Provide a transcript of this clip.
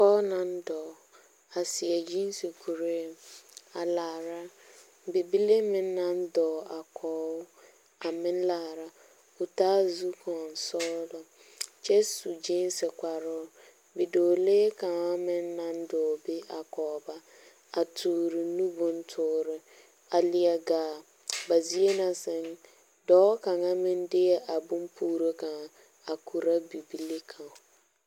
Dɔɔ naŋ dɔɔ, a seɛ gyẽẽse kuree, a laara. Bibile meŋ naŋ dɔɔ a kɔge o, a meŋ laara, taa zukɔɔsɔglɔ, kyɛ su gyẽẽse kparoo. Bidɔɔlee kaŋa meŋ naŋ dɔɔ be a kɔge ba, a toore nu bontoore. A leɛ gaa, ba zie na sɛŋ, dɔɔ kaŋa meŋ deɛ a bompuuro kaŋa a korɔ bibile kaŋa.